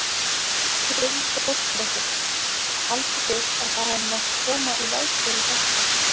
Hrund Þórsdóttir: Haldið þið að það hafi mátt koma í veg fyrir þetta?